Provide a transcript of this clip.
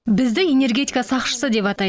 бізді энергетика сақшысы деп атайды